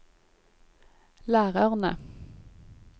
lærerne